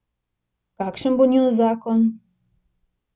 Kakšen bo njun zakon?